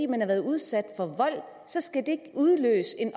man har været udsat for vold så skal det udløse en